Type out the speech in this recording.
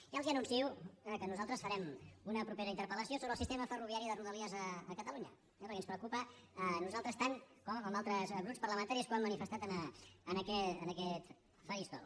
ja els anuncio que nosaltres farem una propera interpel·lació sobre el sistema ferroviari de rodalies a catalunya eh perquè ens preocupa a nosaltres tant com a altres grups parlamentaris que ho han manifestat en aquest faristol